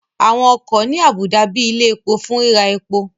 Àwọn ọkọ̀ ní àbùdá bíi ilẹ̀ epo fún ríra epo